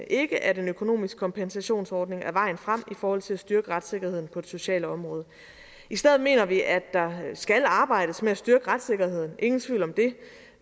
ikke at en økonomisk kompensationsordning er vejen frem i forhold til at styrke retssikkerheden på det sociale område i stedet mener vi at der skal arbejdes med at styrke retssikkerheden ingen tvivl om det